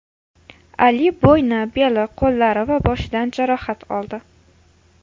Ali bo‘yni, beli, qo‘llari va boshidan jarohat oldi.